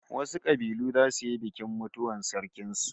Wasu kabilu zasu yi bikin mutuwar sarkin su